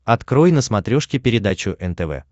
открой на смотрешке передачу нтв